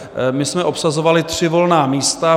My jsme obsazovali tři volná místa.